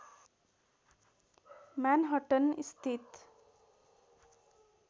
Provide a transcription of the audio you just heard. Manhattan स्थित